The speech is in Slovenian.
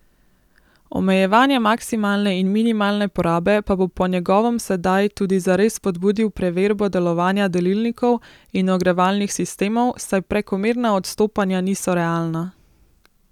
Omejevanje maksimalne in minimalne porabe pa bo po njegovem sedaj tudi zares spodbudil preverbo delovanja delilnikov in ogrevalnih sistemov, saj prekomerna odstopanja niso realna.